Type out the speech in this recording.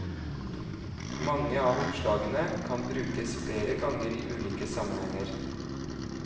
Mange av oppslagene kan brukes flere ganger i ulike sammenhenger.